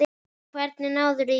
Hvernig náðirðu í þetta?